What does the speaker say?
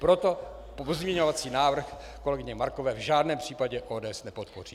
Proto pozměňovací návrh kolegyně Markové v žádném případě ODS nepodpoří.